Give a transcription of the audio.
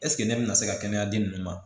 ne bɛna se ka kɛnɛyaden ninnu ma